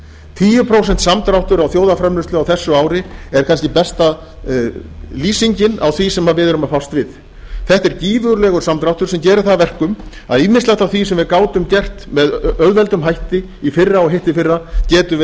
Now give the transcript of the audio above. tíu prósent samdráttur á þjóðarframleiðslu á þessu ári er kannski besta lýsingin á því sem við erum að fást við þetta er gífurlegur samdráttur sem gerir það að verkum að ýmislegt af því sem við gátum gert með auðveldum hætti í fyrra og hittiðfyrra getum við